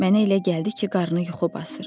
Mənə elə gəldi ki, qarını yuxu basır.